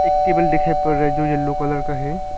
एक टेबल दिखाई पड़ रहा हैं जो येलो कलर का है।